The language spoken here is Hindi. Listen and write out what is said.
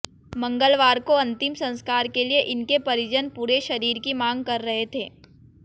मंगलवार को अंतिम संस्कार के लिए इनके परिजन पूरे शरीर की मांग कर रहे थे